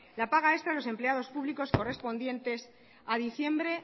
la paga extra a los empleados públicos correspondiente en diciembre